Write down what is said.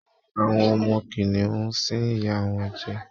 Àwọ ọmọ kìnìún ń sín ìyá wọnjẹ